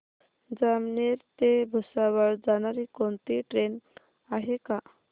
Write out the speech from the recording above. जामनेर ते भुसावळ जाणारी कोणती ट्रेन आहे का